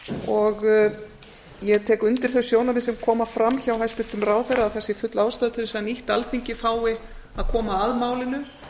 og ég tek undir þau sjónarmið sem koma fram hjá hæstvirtum ráðherra að það sé full ástæða til þess að nýtt alþingi fái að koma að málinu